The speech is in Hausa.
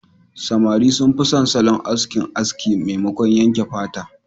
Samari sun fi son salon aski aski maimakon yanke fata.